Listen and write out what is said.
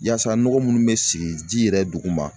Yasa nɔgɔ minnu bɛ sigi ji yɛrɛ duguma